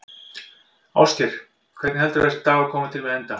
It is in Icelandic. Ásgeir: Hvernig heldurðu að þessi dagur komi til með að enda?